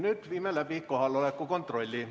Nüüd viime läbi kohaloleku kontrolli.